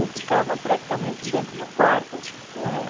Eu ficava praticamente dentro do quarto com ela.